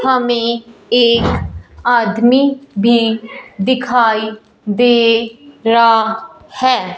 हमें एक आदमी भी दिखाई दे रहा है।